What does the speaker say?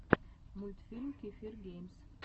мультфильм кефир геймс